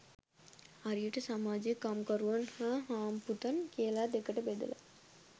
හරියට සමාජය කම්කරුවන් හා හාම්පුතුන් කියල දෙකට බෙදල